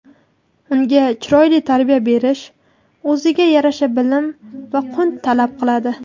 unga chiroyli tarbiya berish o‘ziga yarasha bilim va qunt talab qiladi.